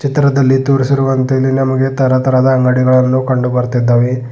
ಚಿತ್ರದಲ್ಲಿ ತೋರಿಸಿರುವಂತೆ ಇಲ್ಲಿ ನಮಗೆ ತರತರದ ಹಣ್ಣುಗಳು ಕಂಡುಬರುತ್ತದೆ.